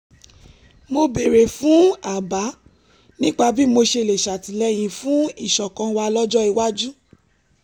mo béèrè fún àbá nípa bí mo ṣe lè ṣàtìlẹ́yìn fún ìṣọ̀kan wa lọ́jọ́ iwájú